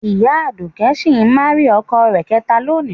Ìyá Aduke si marying ọkọ rẹ̀ kẹta lónìí